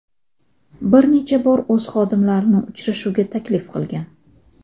bir necha bor o‘z xodimlarini uchrashuvga taklif qilgan.